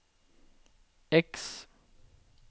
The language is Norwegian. X